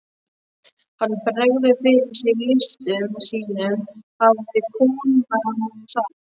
Hann bregður fyrir sig listum sínum hafði kona mín sagt.